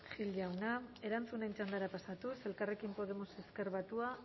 gil jauna erantzunen txandara pasatuz elkarrekin podemos ezker batua